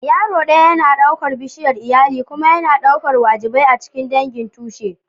Yaro ɗaya yana ɗaukar bishiyar iyali kuma yana ɗaukar wajibai a cikin dangin tushe.